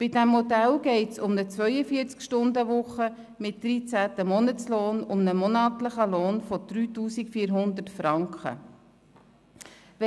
Bei diesem Modell geht es bei einer 42-Stunden-Woche mit 13. Monatslohn um einen monatlichen Lohn von 3400 Franken.